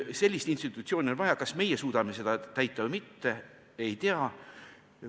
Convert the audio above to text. Sellist institutsiooni on vaja, kas meie suudame seda rolli täita või mitte, ei tea.